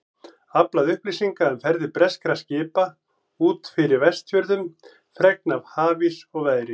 Aflað upplýsinga um ferðir breskra skipa út fyrir Vestfjörðum, fregna af hafís og veðri.